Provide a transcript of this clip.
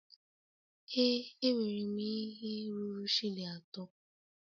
Ee enwere m ihe ruru shilling atọ.